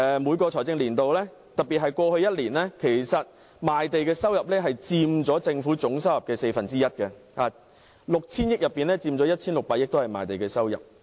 每個財政年度，特別是過去一年，賣地的收入佔政府總收入的四分之一 ，6,000 億元收入中，賣地的收入便佔 1,600 億元。